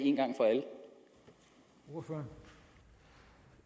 hvor